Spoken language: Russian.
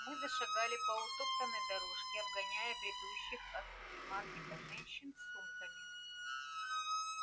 мы зашагали по утоптанной дорожке обгоняя бредущих от супермаркета женщин с сумками